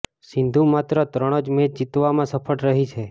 સિંધુ માત્ર ત્રણ જ મેચ જીતવામાં સફળ રહી છે